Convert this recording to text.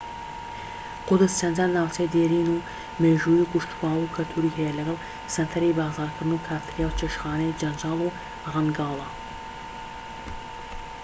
قودس چەندان ناوچەی دێرین و مێژوویی و کشتوکاڵی و کەلتوری هەیە لەگەڵ سەنتەری بازارکردن و کافتریا و چێشتخانەی جەنجاڵ و ڕەنگاڵە